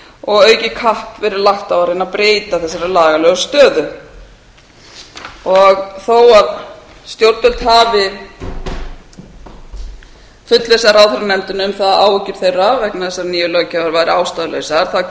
og aukið kapp verið lagt á að reyna að breyta þessari lagalegu stöðu þó stjórnvöld hafi fullvissað ráðherranefndina um það að áhyggjur þeirra vegna þessarar nýju löggjafar væri ástæðulausar